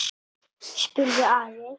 spurði Ari.